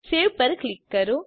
save પર click કરો